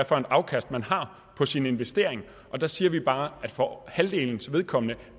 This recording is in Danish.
for et afkast man har på sin investering og der siger vi bare at for halvdelens vedkommende